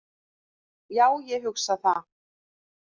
Já, ég hugsa það.